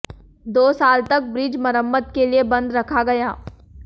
दो साल तक ब्रिज मरम्मत के लिए बंद रखा गया